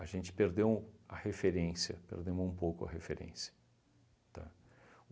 A gente perdeu a referência, perdemos um pouco a referência, tá?